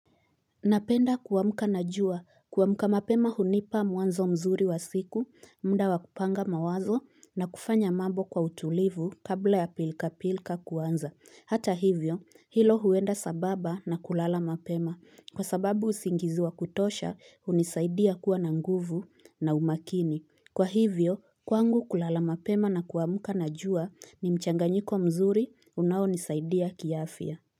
Napenda kuamka na jua kuamka mapema hunipa mwanzo mzuri wa siku mda wa kupanga mawazo na kufanya mambo kwa utulivu kabla ya pilka pilka kuanza hata hivyo hilo huenda sambamba na kulala mapema kwa sababu usingizi wa kutosha hunisaidia kuwa na nguvu na umakini kwa hivyo kwangu kulala mapema na kuamka na jua ni mchanga lnyiko mzuri unaonisaidia kiafya.